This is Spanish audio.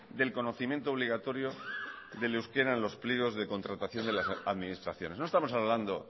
del conocimiento obligatorio del euskera en los pliegos de contratación de las administraciones no estamos hablando